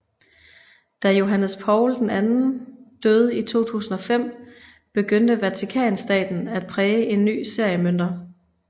Da Johannes Paul II døde i 2005 begyndte Vatikanstaten at præge en ny serie mønter